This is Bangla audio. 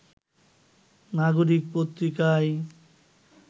নাগরিক পত্রিকায়